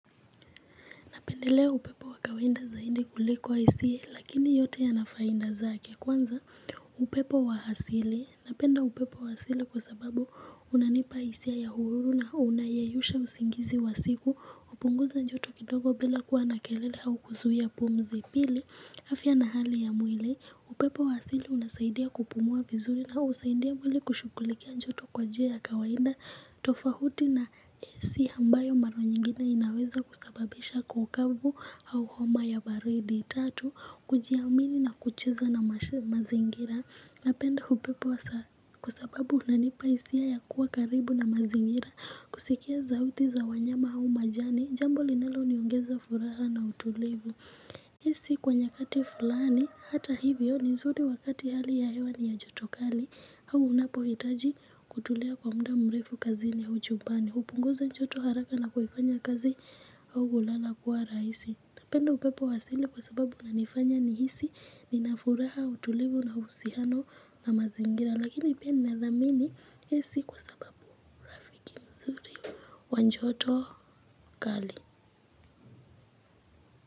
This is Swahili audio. Napendelea upepo wa kawaida zaidi kuliko isiye lakini yote yana faida zake kwanza upepo wa asili. Napenda upepo wa asili kwa sababu unanipa hisia ya uhuru na unayeyusha usingizi wa siku hupunguza joto kidogo bila kuwa na kelele au kuzuia pumzi pili. Afya na hali ya mwili, upepo wa asili unasaidia kupumua vizuri na husaidia mwili kushughulikia joto kwa njia ya kawaida, tofauti na AC ambayo mara nyingine inaweza kusababisha kaukavu au homa ya baridi. Tatu, kujiamini na kucheza na mazingira, napenda upepo hasa kwa sababu unanipa hisia ya kuwa karibu na mazingira, kusikia sauti za wanyama au majani, jambo linaloniongeza furaha na utulivu. Hii si kwa nyakati fulani hata hivyo ni nzuri wakati hali ya hewa ni ya joto kali au unapohitaji kutulia kwa mda mrefu kazini au jumbani hupunguza joto haraka na kuifanya kazi au ulana kuwa rahisi. Napenda upepo wa asili kwa sababu unanifanya nihisi nina furaha utulivu na uhusiano na mazingira lakini pia nina dhamini hii si kwa sababu urafiki nzuri wa joto kali.